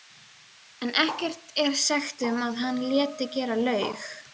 en ekkert er sagt um að hann léti gera laug.